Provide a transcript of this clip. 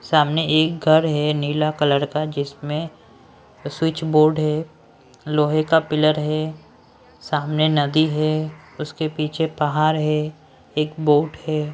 सामने एक घर है नीला कलर का जिसमें स्विच बोर्ड है लोहे का पिलर है सामने नदी है उसके पीछे पहाड़ है एक बोट है।